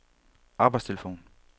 arbejdstelefon